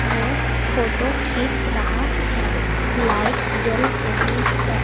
ओ photo खींच रहा है लाइट जल रही है।